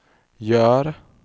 gör